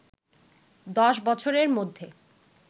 দশ বছরের মধ্যে